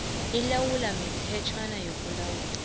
ilawulwa mithetjhwana yokulawula